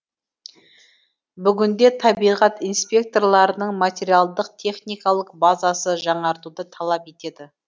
бүгінде табиғат инспекторларының материалдық техникалық базасы жаңартуды талап етеді